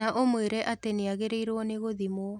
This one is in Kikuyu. Na ũmwĩre atĩ nĩagĩrĩrwo nĩ gũthimwo